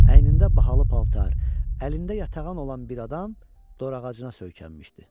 Əynində bahalı paltar, əlində yatağan olan bir adam dorağacına söykənmişdi.